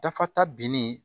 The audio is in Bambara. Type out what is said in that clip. Dafa ta binni